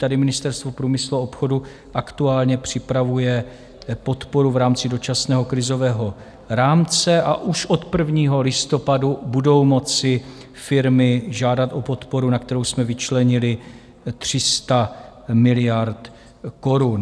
Tady Ministerstvo průmyslu a obchodu aktuálně připravuje podporu v rámci Dočasného krizového rámce a už od 1. listopadu budou moci firmy žádat o podporu, na kterou jsme vyčlenili 300 miliard korun.